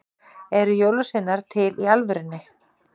Eru jólasveinar til í alvörunni?